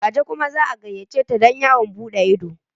Gaje kuma za a gayyace ta don yawon buɗe ido.